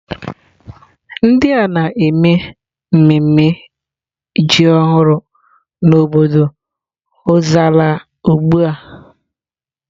Ndị a na-eme mmemme ji ọhụrụ n'obodo Ozalla ugbu a.